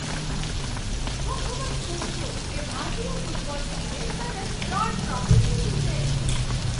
હું ખૂબ જ ખુશ છું કે ભારતીય ફૂટબોલ ટીમે સતત ત્રણ ટ્રોફી જીતી છે.